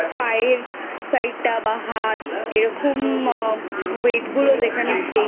পা এর Side টা বা হাত এরকম Weight গুলো যেখানে